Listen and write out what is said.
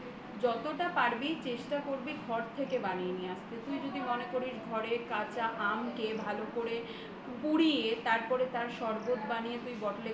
যতটা পারবি চেষ্টা করবি ঘর থেকে বানিয়ে নিয়ে আসতে তুমি যদি মনে করিস ঘরে কাঁচা আমকে ভালো করে পুড়িয়ে তারপর তার শরবত বানিয়ে bottle এ করে